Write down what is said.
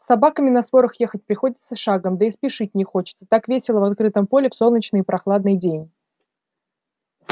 с собаками на сворах ехать приходится шагом да и спешить не хочется так весело в открытом поле в солнечный и прохладный день